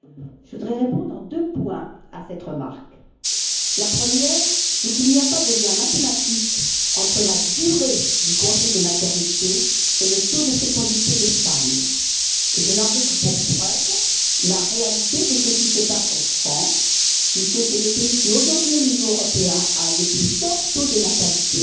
Madame la Présidente, je voudrais répondre en deux points à cette remarque. Le premier, c'est qu'il n'y a pas de lien mathématique entre la durée du congé de maternité et le taux de fécondité des femmes, et je n'en veux que pour preuve la réalité de ce qui se passe en France puisque c'est le pays qui, aujourd'hui, au niveau européen, a un des plus forts taux de natalité